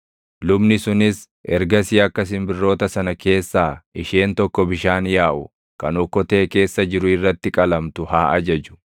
Lubni sunis ergasii akka simbirroota sana keessaa isheen tokko bishaan yaaʼu kan okkotee keessa jiru irratti qalamtu haa ajaju.